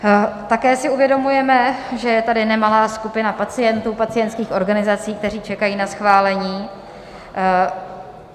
Také si uvědomujeme, že je tady nemalá skupina pacientů, pacientských organizací, kteří čekají na schválení.